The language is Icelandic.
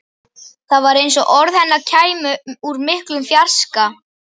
Það var eins og orð hennar kæmu úr miklum fjarska.